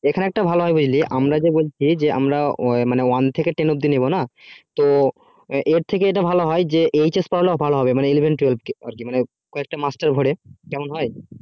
এখানে একটা ভালো হয় বুঝলি আমরা যে বলছি যে আমরা যে one থেকে ten ওব্দি নেবোনা তো এর থেকে এটা ভালো হয় যে hs পড়ানো ভালো হবে মানে eleven twelve কে আর কি মানে কয়েকটা master ভোরে কেমন হয়